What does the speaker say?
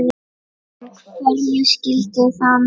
En hverju skyldi það muna?